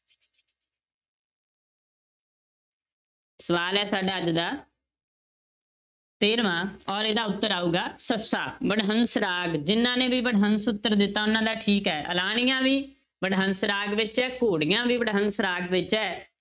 ਸਵਾਲ ਹੈ ਸਾਡਾ ਅੱਜ ਦਾ ਤੇਰਵਾਂ ਔਰ ਇਹਦਾ ਉੱਤਰ ਆਊਗਾ ਸੱਸਾ, ਵਡਹੰਸ ਰਾਗ, ਜਿੰਨਾਂ ਨੇ ਵੀ ਵਡਹੰਸ ਉੱਤਰ ਦਿੱਤਾ, ਉਹਨਾਂ ਦਾ ਠੀਕ ਹੈ, ਆਲਾਣੀਆ ਵੀ ਵਡਹੰਸ ਰਾਗ ਵਿੱਚ ਹੈ, ਘੋੜੀਆਂ ਵੀ ਵਡਹੰਸ ਰਾਗ ਵਿੱਚ ਹੈ